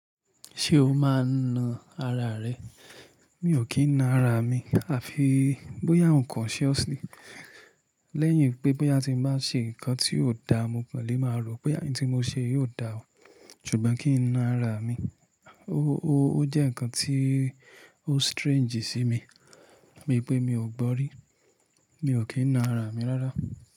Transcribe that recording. Ṣé o máa ń na ara rẹ? Mi ò kí ń na ara mi, àfi bóyá ǹkan unconsciously Lẹ́yìn pé bóyá tí mo bá ṣe ǹkan tí kò dáa, mo kò lè máa rò pé ẹni tí mo ṣe yóò dáa. Ṣùgbọ́n kí n na ara mi, ó jẹ́ ǹkan tí ó strange sí mi, bi pé mi ò gbọ́ rí. Mi ò kí ń na ara mi rárá.